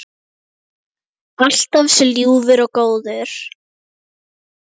Alltaf svo ljúfur og góður.